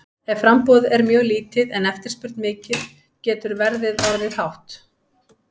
Ef framboð er mjög lítið en eftirspurn mikil getur verðið orðið hátt.